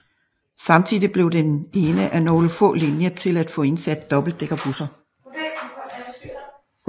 Samtidig blev den en af nogle få linjer til at få indsat dobbeltdækkerbusser